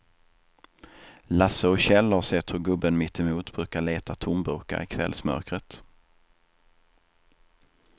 Lasse och Kjell har sett hur gubben mittemot brukar leta tomburkar i kvällsmörkret.